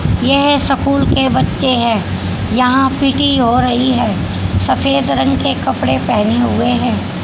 यह सकूल के बच्चे हैं यहां पी_टी हो रही है सफेद रंग के कपड़े पहने हुए हैं।